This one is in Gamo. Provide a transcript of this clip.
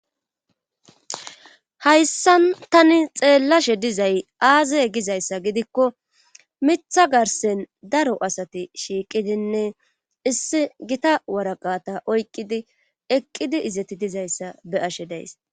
Haysan Tani xelashe dizay aaze gizaysa gidikon Mitha garsen daro asat shiiqidinne issi Gita waraqata oyqidi eqid izeti dizaysa be'ashe days.